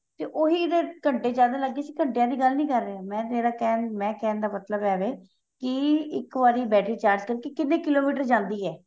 ਤੇ ਹੀ ਘੰਟੇ ਜਿਆਦਾ ਲੱਗ ਗਏ ਸੀ ਘੰਟਿਆਂ ਦੀ ਗੱਲ ਨਹੀਂ ਕਰ ਰਿਹਾਂ ਮੈਂ ਜਿਹੜਾ ਕਹਿ ਮੈਂ ਕਹਿਣ ਦਾ ਮਤਲਬ ਏ ਕੀ ਇੱਕ ਵਾਰੀ battery charge ਕਰਕੇ ਕਿੰਨੇ ਕਿਲੋਮੀਟਰ ਜਾਂਦੀ ਏ